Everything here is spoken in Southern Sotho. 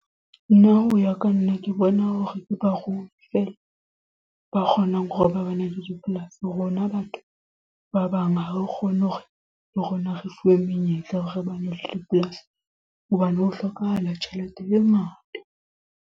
Nna hoya ka nna ke bona hore ke barui fela ba kgonang hore ba bane le dipolasi. Rona batho ba bang ha o kgone hore le rona re fuwe menyetla ya hore ba ne le polasi. Hobane ho hlokahala tjhelete e ngata.